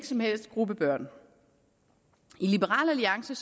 som helst gruppe børn i liberal alliance